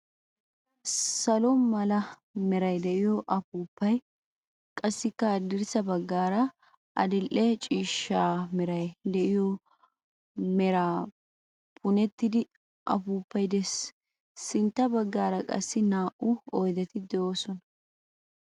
Salo mala meray de"iyo afuufay qassikka haddirssa baggaara adidhe ciishsha meray de"iyo mera punettida afuufay de'ees. Sintta baggaara qassi naa"u oydeti de'oosona.